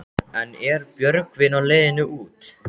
En er Björgvin á leiðinni út?